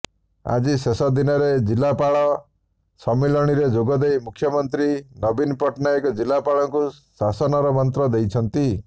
ଆଜି ଶେଷଦିନରେ ଜିଲ୍ଲାପାଳ ସମ୍ମିଳନୀରେ ଯୋଗଦେଇ ମୁଖ୍ୟମନ୍ତ୍ରୀ ନବୀନ ପଟ୍ଟନାୟକ ଜିଲ୍ଲାପାଳଙ୍କୁ ଶାସନର ମନ୍ତ୍ର ଦେଇଛନ୍ତି